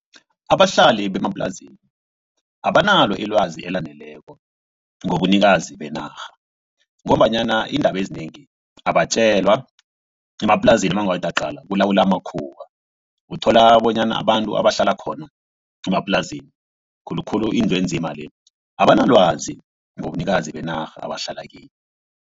Abahlali bemaplazini abanalo ilwazi elaneleko ngobunikazi benarha. Ngombanyana iindaba ezinengi abatjelwa emaplazini nawungathi uyaqala kulawula amakhuwa. Uthola bonyana abantu abahlala khona emaplazini khulukhulu indlu enzima le abanalwazi ngobunikazi benarha abahlala kiyo.